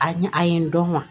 A ɲa a ye n dɔn kuwa